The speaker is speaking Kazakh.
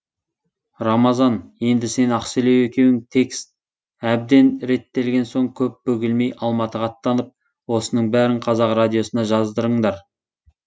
рамазан енді сен ақселеу екеуің текст әбден реттелген соң көп бөгелмей алматыға аттанып осының бәрін қазақ радиосына жаздырыңдар